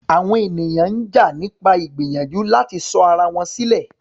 Àwọn ènìyàn ń jà nípa ìgbìyànjú láti sọ ara wọn sílẹ̀.